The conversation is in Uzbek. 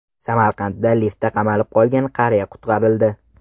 Samarqandda liftda qamalib qolgan qariya qutqarildi.